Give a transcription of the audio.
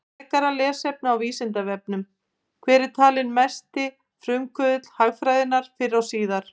Frekara lesefni á Vísindavefnum: Hver er talinn vera mesti frumkvöðull hagfræðinnar fyrr og síðar?